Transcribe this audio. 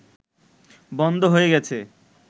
বন্ধ হয়ে গেছে